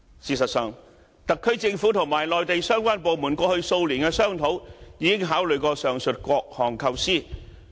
事實上，特區政府與內地相關部門過去數年的商討，已經考慮過上述各項構思。